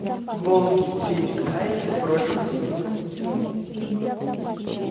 волки всей стаей бросились на него